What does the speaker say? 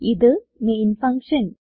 ഇത് main function